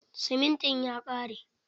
Siminti ya ƙare.